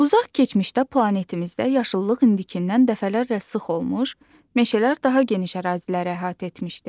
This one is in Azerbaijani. Uzaq keçmişdə planetimizdə yaşıllıq indindən dəfələrlə sıx olmuş, meşələr daha geniş əraziləri əhatə etmişdi.